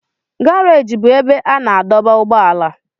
Garajị bụ ebe a na-adọba ụgbọala